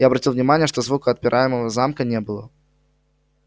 я обратил внимание что звука отпираемого замка не было